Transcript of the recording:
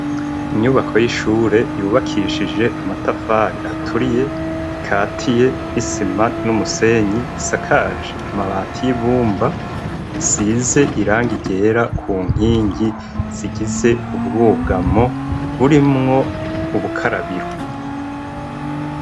Inyubako y'ishure yubakishije amatafari aturiye ikatiye n'isima n'umusenyi isakaje amabati y'ibumba isize irangi ryera ku nkingi zigize ubwugamo burimwo ubukarabiro.